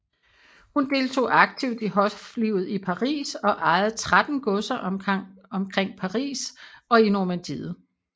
Hun deltog aktivt i hoflivet i Paris og ejede tretten godser omkring Paris og i Normandiet